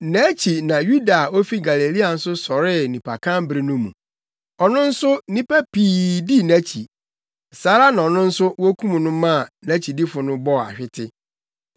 Nʼakyi na Yuda a ofi Galilea nso sɔree nnipakan bere no mu. Ɔno nso nnipa pii dii nʼakyi. Saa ara na ɔno nso wokum no maa nʼakyidifo no bɔɔ ahwete.